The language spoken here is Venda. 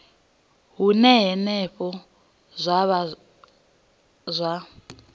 hune henefho zwa vha zwa